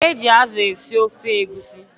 E ji azụ esi ofe egusi